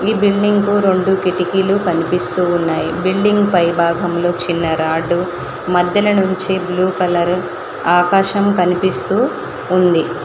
ఈ బిల్డింగ్ కు రెండు కిటికీలు కనిపిస్తూ ఉన్నాయి బిల్డింగ్ పై భాగంలో చిన్న రాడ్డు మధ్యన నుంచి బ్లూ కలరు ఆకాశం కనిపిస్తూ ఉంది.